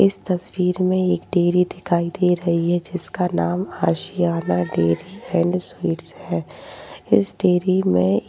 इस तस्वीर मे एक डेयरी दिखाई दे रही है। जिसका नाम आशियाना डेयरी एण्ड स्वीट्स है। इस डेयरी मे --